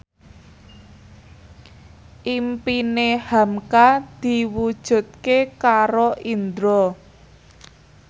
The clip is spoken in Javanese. impine hamka diwujudke karo Indro